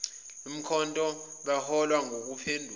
likamkhonto beholwa nguphenduka